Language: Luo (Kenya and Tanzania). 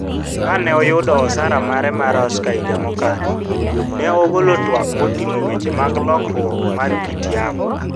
Kane oyudo osara mare mar Oscar higa mokalo, ne ogolo twak moting'o weche mag lokruok mar kit yamo.